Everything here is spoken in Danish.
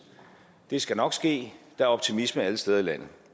det skal nok ske der er optimisme alle steder i landet